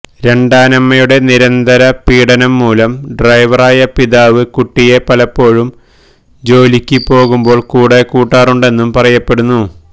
രണ്ടാനമ്മയുടെ നിരന്തര പീഡനംമൂലം ഡ്രൈവറായ പിതാവ് കുട്ടിയെ പലപ്പോഴും ജോലിയ്ക്ക് പോകുമ്പോള് കൂടെ കൂട്ടാറുണ്ടെന്നും പറയപ്പെടുന്നു